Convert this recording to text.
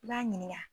I b'a ɲininka